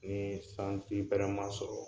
Ni sanji bɛrɛ ma sɔrɔ.